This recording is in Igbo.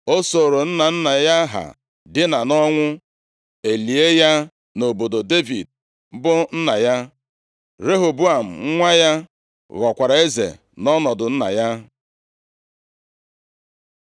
O sooro nna nna ya ha dina nʼọnwụ, e lie ya nʼobodo Devid bụ nna ya. Rehoboam nwa ya, ghọkwara eze nʼọnọdụ nna ya.